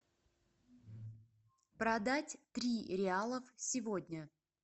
продать три реалов сегодня